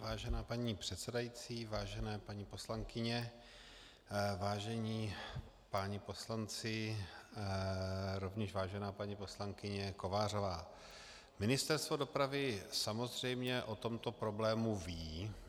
Vážená paní předsedající, vážené paní poslankyně, vážení páni poslanci, rovněž vážená paní poslankyně Kovářová, Ministerstvo dopravy samozřejmě o tomto problému ví.